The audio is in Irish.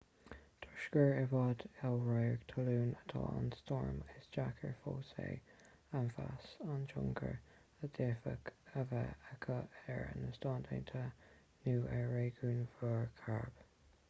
toisc gur i bhfad ó radharc talún atá an stoirm is deacair fós é a mheas an tionchar a d'fhéadfadh a bheith aici ar na stáit aontaithe nó ar réigiún mhuir chairib